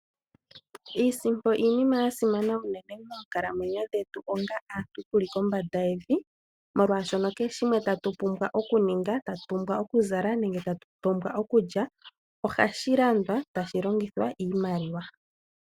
Iisimpo iinima ya simana unene moonkalamwenyo dhetu onga aantu tuli ko mbada yevi, molwaashono keheshino tatu pumbwa oku ninga, tatu pumbwa oku zala nenge tatu pumbwa okudja ohashi landwa tashi longithwa iimaliwa.